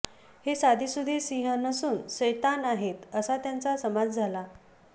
हे साधेसुधे सिंह नसून सैतान आहेत असा त्यांचा समाज झाला